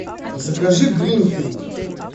закажи гринфилд